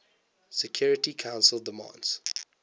security council demands